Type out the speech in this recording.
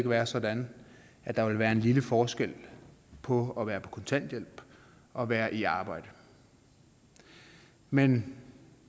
være sådan at der vil være en lille forskel på at være på kontanthjælp og være i arbejde men